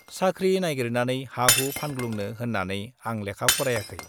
साख्रि नाइगिरनानै हा-हु फानग्लुंनो होन्नानै आं लेखा फरायाखै।